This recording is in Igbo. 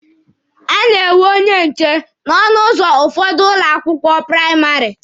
A na-enwe onye nche n'ọnụ ụzọ ụfọdụ ụlọ akwụkwọ praịmarị.